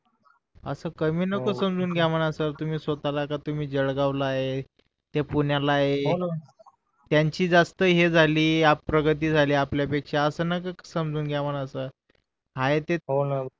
असं कमी नको समजून घ्या म्हण सर तुम्ही स्वतःला कि तुम्ही जळगाव ला आहे ते पुण्या ला आहे त्याची जास्त हे झाली प्रगती झालीआपल्या पेक्षा असं नका समजून घ्या म्हण सर आहे ते